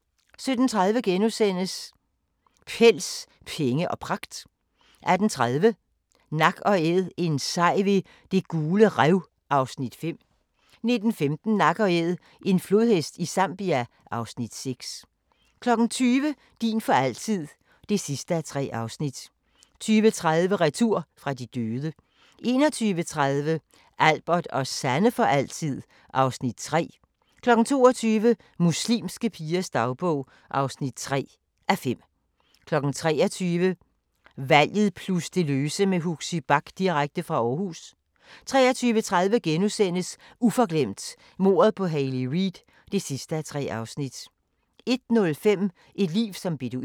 17:30: Pels, penge og pragt * 18:30: Nak & Æd – en sej ved Det Gule Rev (Afs. 5) 19:15: Nak & Æd – en flodhest i Zambia (Afs. 6) 20:00: Din for altid (3:3) 20:30: Retur fra de døde 21:30: Albert og Sanne for altid (Afs. 3) 22:00: Muslimske pigers dagbog (3:5) 23:00: Valget plus det løse med Huxi Bach direkte fra Aarhus 23:30: Uforglemt: Mordet på Hayley Reid (3:3)* 01:05: Et liv som beduin